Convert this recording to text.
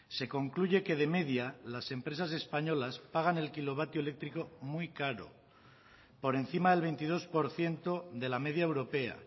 se concluye que de media las empresas españolas pagan el kilovatio eléctrico muy caro por encima del veintidós por ciento de la media europea